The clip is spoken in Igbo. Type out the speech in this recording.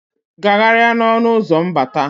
Gagharịa n'ọnụ ụzọ mbata.